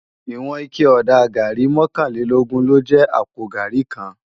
Iwòn iké òdá gàrí mòkánlélógùn ló jè àpó gàrí kán